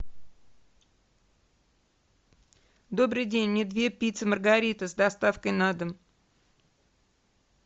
добрый день мне две пиццы маргарита с доставкой на дом